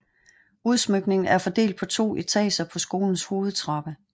Udsmykningen er fordelt på to etager på skolens hovedtrappe